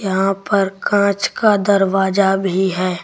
यहां पर कांच का दरवाजा भी है।